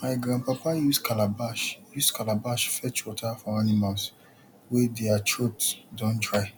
my grandpapa use calabash use calabash fetch water for animals wey dere throat don dry